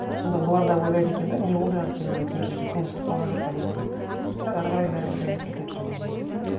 сонда олар да ойлайды екен де не болды екен ана кемпірге көмусіз қалған жоқ па деген сияқты бірақ ары қарай бәрібір де ұмытып кетеді жаңағындай